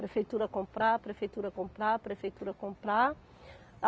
Prefeitura comprar, prefeitura comprar, prefeitura comprar.